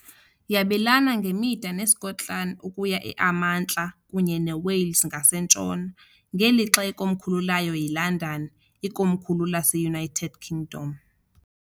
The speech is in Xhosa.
Yabelana ngemida neSkotlani ukuya emantla kunye neWales ngasentshona, ngelixa ikomkhulu layo yiLondon, ikomkhulu laseUnited Kingdom.